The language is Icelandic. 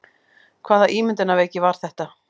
Hvaða ímyndunarveiki var þetta?